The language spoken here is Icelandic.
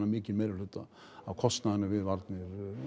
mikinn meirihluta af kostnaðinum við varnir